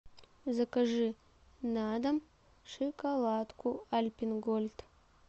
закажи на дом шоколадку альпен гольд